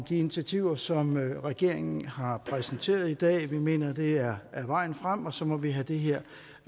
initiativer som regeringen har præsenteret i dag vi mener det er vejen frem og så må vi have det her